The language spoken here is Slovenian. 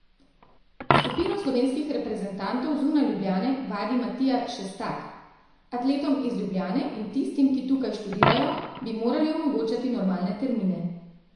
Skupino slovenskih reprezentantov zunaj Ljubljane vadi Matija Šestak: 'Atletom iz Ljubljane in tistim, ki tukaj študirajo, bi morali omogočati normalne termine.